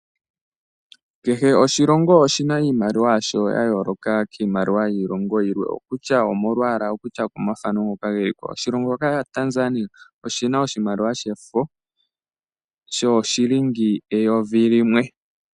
Kehe oshilongo oshi na iimaliwa yasho yayooloka kiimaliwa yiilongo yilwe, okutya omolwaala okutya okomafano ngoka geli ko. Oshilonho shoka shaTanzania oshi na oshimaliwa shefo shooshilingi eyovi limwe.